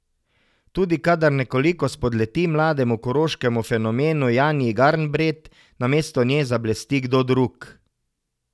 Tudi kadar nekoliko spodleti mlademu koroškemu fenomenu Janji Garnbret, namesto nje zablesti kdo drug.